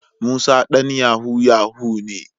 Musa dan yahoo yahoo ne.